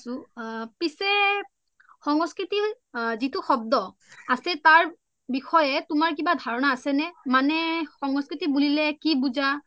হয় মইয়ো ভালে আছো পিছে সংস্কৃতিৰ যিটো শব্দ আছে তাৰ বিষয়ে তোমাৰ কিবা ধাৰণা আছে নে মানে সংস্কৃতি বুলিলে কি বুজা